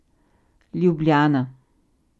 Ljubljana.